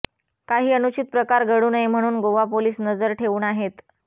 काही अनुचित प्रकार घडू नये म्हणून गोवा पोलीस नजर ठेवून आहेत